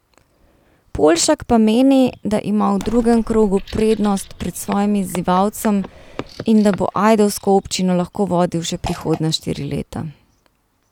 Poljšak pa meni, da ima v drugem krogu prednost pred svojim izzivalcem in da bo ajdovsko občino lahko vodil še prihodnja štiri leta.